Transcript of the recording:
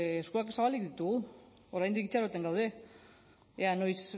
eskuak zabalik ditugu oraindik itxaroten gaude ea noiz